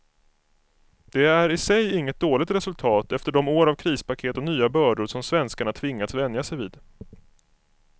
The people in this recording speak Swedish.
Det är i sig inget dåligt resultat efter de år av krispaket och nya bördor som svenskarna tvingats vänja sig vid.